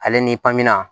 Ale ni